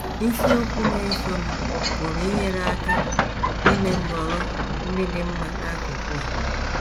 Isiokwu na - esonụ pụrụ inyere anyị aka ime nhọrọ ndị dị mma n’akụkụ a..